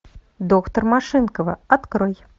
доктор машинкова открой